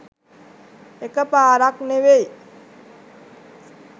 එකපාරක් ‍නෙවෙයි